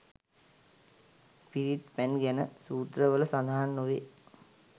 පිරිත් පැන් ගැන සූත්‍ර වල සඳහන් නොවේ.